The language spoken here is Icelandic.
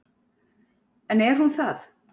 En er hún það?